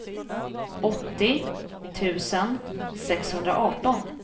åttio tusen sexhundraarton